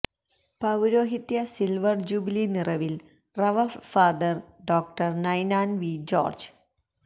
പൌരോഹിത്യ silver jubilee നിറവില് Rev Fr Dr Ninan V George